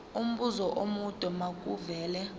umbuzo omude makuvele